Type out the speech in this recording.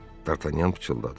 D'Artagnan pıçıldadı.